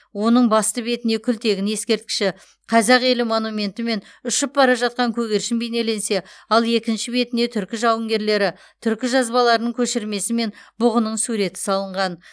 оның басты бетіне күлтегін ескерткіші қазақ елі монументі мен ұшып бара жатқан көгершін бейнеленсе ал екінші бетіне түркі жауынгерлері түркі жазбаларының көшірмесі мен бұғының суреті салынған